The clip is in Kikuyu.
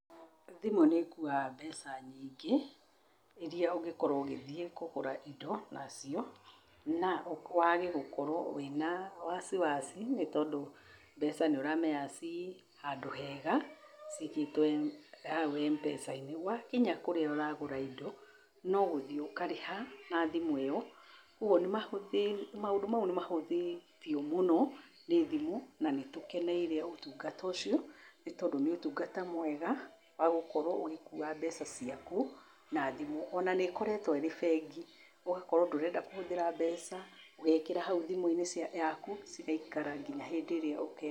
Thimũ nĩ ĩkuaga mbeca nyingĩ iria ũngĩkorwo ũgĩthiĩ kũgũra indo nacio, na wage gũkorwo wĩna wasiwasi nĩ tondũ mbeca nĩ ũramenya ci handũ hega ciigĩtwo hau MPESA-inĩ. Wakinya kũrĩa ũragũra indo, no gũthiĩ ũkarĩha na thimũ ĩyo. Kwoguo maũndũ mau nĩ mahũthĩtio mũno nĩ thimũ na nĩ tũkeneire ũtungata ũcio, nĩ tondũ nĩ ũtungata mwega wa gũkorwo ũgĩkua mbeca ciakũ na thimũ. O na nĩ ĩkoretwo ĩrĩ bengi, ũgakorwo ndũrenda kũhũthĩra mbeca, ũgeekĩra hau thimũ-inĩ yaku cigaikara nginya hĩndĩ ĩrĩa ũkeenda.